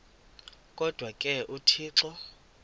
kodwa ke uthixo